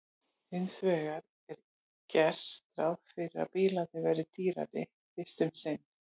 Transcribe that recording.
hins vegar er gert ráð fyrir að bílarnir verði dýrari fyrst um sinn